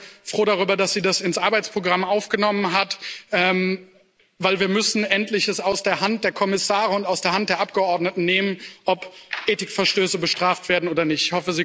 Ich bin sehr froh darüber, dass sie das ins Arbeitsprogramm aufgenommen hat, denn wir müssen es endlich aus der Hand der Kommissare und aus der Hand der Abgeordneten nehmen, ob Ethikverstöße bestraft werden oder nicht.